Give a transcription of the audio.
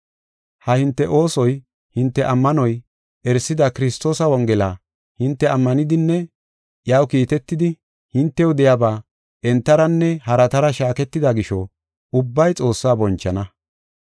Ha hinte oosoy hinte ammanuwa erisidi Kiristoosa Wongela hinte ammanidinne iyaw kiitetidi hintew de7iyaba entaranne haratara shaaketida gisho ubbay Xoossaa bonchana.